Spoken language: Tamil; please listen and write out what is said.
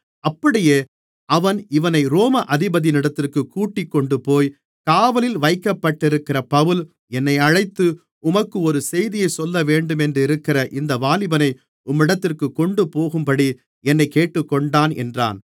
அப்படியே அவன் இவனை ரோம அதிபதியினிடத்திற்குக் கூட்டிக்கொண்டுபோய் காவலில் வைக்கப்பட்டிருக்கிற பவுல் என்னை அழைத்து உமக்கொரு செய்தியைச் சொல்லவேண்டுமென்றிருக்கிற இந்த வாலிபனை உம்மிடத்திற்குக் கொண்டுபோகும்படி என்னைக் கேட்டுக்கொண்டான் என்றான்